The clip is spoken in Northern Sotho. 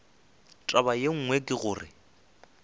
taba ye nngwe ke gore